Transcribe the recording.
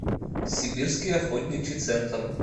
сибирский охотничий центр